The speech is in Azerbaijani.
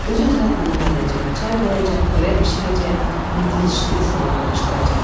Özü-özünə qulluq edəcək, çay qoyacaq, xörək bişirəcək, mitil-şil salıb yığışdıracaq.